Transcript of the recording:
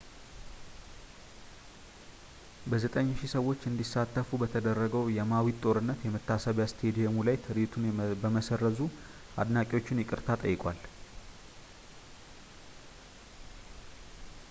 በ9,000 ሰዎች እንዲሳተፍ በተደረገው በማዊድ ጦርነት የመታሰቢያ ስታዲየሙ ላይ ትርዒቱን በመሰረዙ አድናቂዎቹን ይቅርታ ጠይቋል